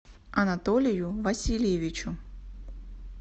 анатолию васильевичу